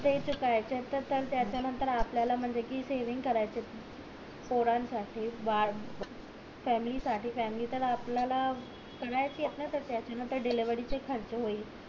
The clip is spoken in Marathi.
ते चुकायचेत त्याच्या नंतर आपल्याला म्हणजे कि सेविंग करायचेत पोरानं साठी बाळ फॅमिली साठी फॅमिली तर आपल्याला डिलिव्हरी चा खर्च होईल